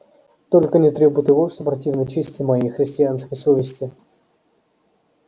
только не требуй того что противно чести моей христианской совести